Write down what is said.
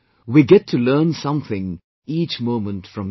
We get to learn something each moment from them